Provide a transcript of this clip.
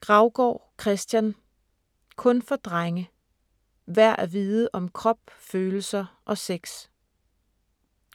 Graugaard, Christian: Kun for drenge: værd at vide om krop, følelser og sex